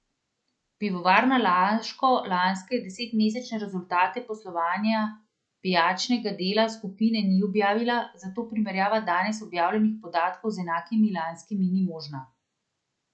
Pivovarna Laško lanske desetmesečne rezultate poslovanja pijačnega dela skupine ni objavila, zato primerjava danes objavljenih podatkov z enakimi lanskimi ni možna.